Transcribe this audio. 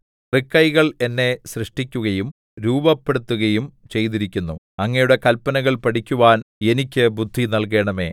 തൃക്കൈകൾ എന്നെ സൃഷ്ടിക്കുകയും രൂപപ്പെടുത്തുകയും ചെയ്തിരിക്കുന്നു അങ്ങയുടെ കല്പനകൾ പഠിക്കുവാൻ എനിക്ക് ബുദ്ധി നല്കണമേ